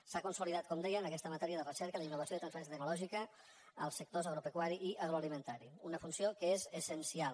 s’ha consolidat com deia en aquesta matèria de recerca la innovació i la transferència tecnològica als sectors agropecuari i agroalimentari una funció que és essencial